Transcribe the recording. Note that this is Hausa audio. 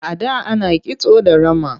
A da ana kisto da rama.